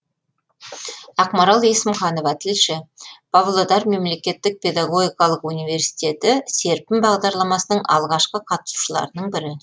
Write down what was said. ақмарал есімханова тілші павлодар мемлекеттік педагогикалық университеті серпін бағдарламасының алғашқы қатысушыларының бірі